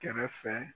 Kɛrɛfɛ